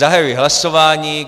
Zahajuji hlasování.